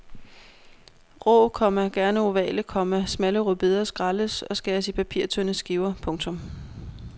Rå, komma gerne ovale, komma smalle rødbeder skrælles og skæres i papirtynde skiver. punktum